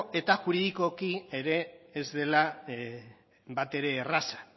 eta juridikoki ere ez dela bat ere erraza